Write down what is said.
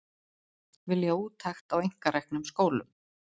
Vilja úttekt á einkareknum skólum